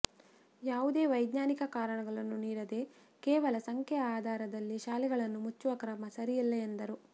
ಯಾವುದೇ ವೈಜ್ಞಾನಿಕ ಕಾರಣಗಳನ್ನು ನೀಡದೇ ಕೇವಲ ಸಂಖ್ಯೆಯ ಆಧಾರದಲ್ಲಿ ಶಾಲೆಗಳನ್ನು ಮುಚ್ಚುವ ಕ್ರಮ ಸರಿಯಲ್ಲ ಎಂದರು